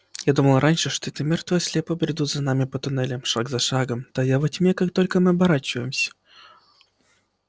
я думала раньше что это мёртвые слепо бредут за нами по туннелям шаг за шагом тая во тьме как только мы оборачиваемся